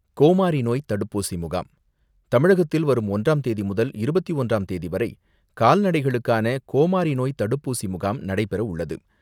கோமாரி நோய் தடுப்பூசி முகாம் தமிழகத்தில் வரும் ஒன்றாம் தேதி முதல் இருபத்தி ஒன்றாம் தேதிவரை கால்நடைகளுக்கான கோமாரி நோய் தடுப்பூசி முகாம் நடைபெற உள்ளது.